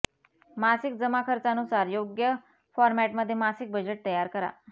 मासिक जमा खर्चानुसार योग्य फॉरमॅटमध्ये मासिक बजेट तयार करा